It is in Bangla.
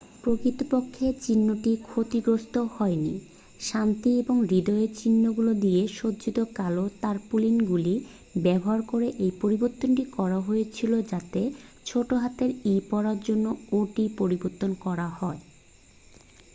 "প্রকৃতপক্ষে চিহ্নটি ক্ষতিগ্রস্থ হয়নি; শান্তি ও হৃদয়ের চিহ্নগুলি দিয়ে সজ্জিত কালো তারপুলিনগুলি ব্যবহার করে এই পরিবর্তনটি করা হয়েছিল যাতে ছোটহাতের "e" পড়ার জন্য "o" টি পরিবর্তন করা হয়।